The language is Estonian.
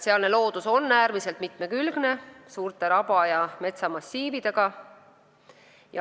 Sealne loodus on äärmiselt mitmekülgne, suurte raba- ja metsamassiividega.